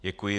Děkuji.